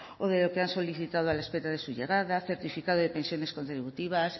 o de lo que han solicitado a la espera de su llegada certificado de pensiones contributivas